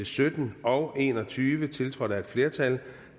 sytten og en og tyve tiltrådt af et flertal